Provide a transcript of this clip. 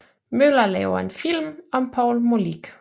Møller lave en film om Poul Molich